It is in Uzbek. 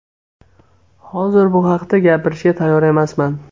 Hozir bu haqda gapirishga tayyor emasman.